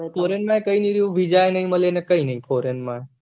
foreign માં કઈ નહી રેહવું વીજા એ નહી મળે અને કઈ નહી foreign